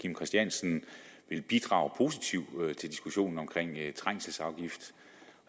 kim christiansen ville bidrage positivt til diskussionen om trængselsafgift